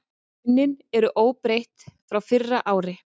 Launin eru óbreytt frá fyrra ári